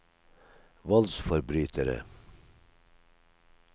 voldsforbrytere